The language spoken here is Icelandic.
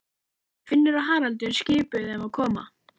Finnur og Haraldur skipuðu þeim að koma.